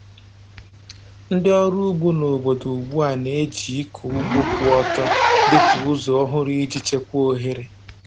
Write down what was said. Ndị ọrụ ugbo n’obodo ugbu a na-eji ịkụ ugbo kwụ ọtọ dị ka ụzọ ọhụrụ iji chekwaa ohere.